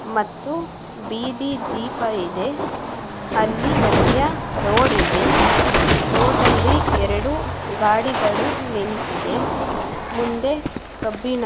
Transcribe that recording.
ಮತ್ತು ಬೀದಿ ದೀಪ ಇದೆ ಅಲ್ಲಿ ಮದ್ಯ ರೋಡು ಇದೆ ರೋಡಲ್ಲಿ ಎರೆಡು ಗಾಡಿಗಳು ನಿಂತಿದೆ. ಮುಂದೆ ಕಬ್ಬಿನ--